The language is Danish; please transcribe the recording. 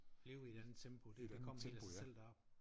Leve i et andet tempo det da kommet helt af sig selv deroppe